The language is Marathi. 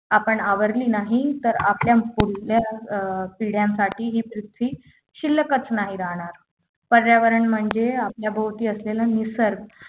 आपण आवरले नाही तर आपल्या पुढल्या अं पिढ्यांसाठी ही पृथ्वी शिल्लकच नाही राहणार पर्यावरण म्हणजे आपल्या भोवती असलेले निसर्ग